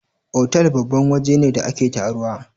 otal babban waje ne da ake taruwa